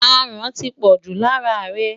Aràn ti pọ̀jù lára rẹ̀.